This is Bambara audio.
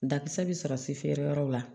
Dakisɛ bi sɔrɔ se feere yɔrɔ la